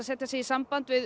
setja sig í samband við